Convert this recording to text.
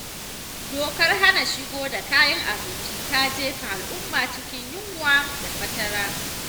Dokar hana shigo da kayan abinci ta jefa alumma cikin yunwa da fatara.